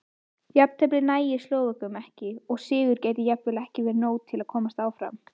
Jafntefli nægir Slóvökum ekki og sigur gæti jafnvel ekki verið nóg til að komast áfram.